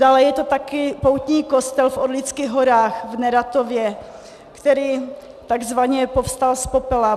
Dále je to také poutní kostel v Orlických horách v Neratově, který takzvaně povstal z popela.